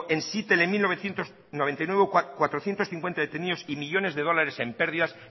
en seattle en mil novecientos noventa y nueve cuatrocientos cincuenta detenidos y millónes de dólares de pérdidas